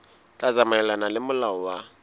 tla tsamaelana le molao wa